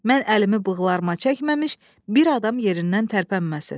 Mən əlimi bığlarıma çəkməmiş, bir adam yerindən tərpənməsin.